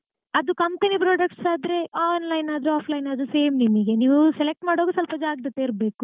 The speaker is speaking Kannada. ಅದು company product ಆದ್ರೆ online ಆದ್ರೂ offline ಆದ್ರೂ same ನಿಮಿಗೆ ನೀವು select ಮಾಡುವಾಗ ಸ್ವಲ್ಪ ಜಾಗ್ರತೆ ಇರ್ಬೇಕು.